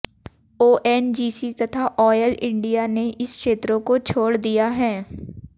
ONGC तथा oil India ने इन क्षेत्रों को छोड़ दिया है